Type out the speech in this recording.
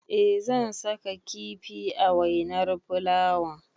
Eh zan saka kifi a wainar fulawan.